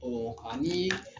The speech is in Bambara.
Ɔ ani